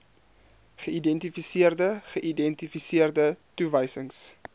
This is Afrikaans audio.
geïdentifiseerde geïdentifiseerde toewysings